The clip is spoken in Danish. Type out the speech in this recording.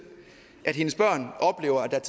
at hendes børn